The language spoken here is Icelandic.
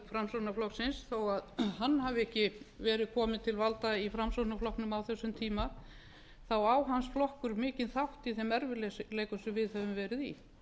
framsóknarflokksins þó að hann hafi ekki verið kominn til valda í framsóknarflokknum á þessum tíma þá á hans flokkur mikinn þátt í þeim erfiðleikum sem við höfum verið í